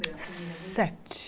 Sete